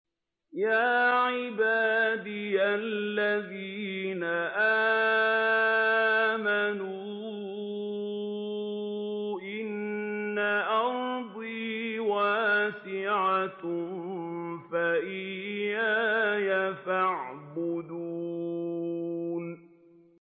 يَا عِبَادِيَ الَّذِينَ آمَنُوا إِنَّ أَرْضِي وَاسِعَةٌ فَإِيَّايَ فَاعْبُدُونِ